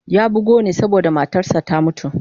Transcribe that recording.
Ya bugu ne saboda matarsa ​​ta mutu.